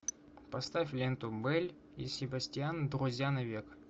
поставь ленту белль и себастьян друзья навек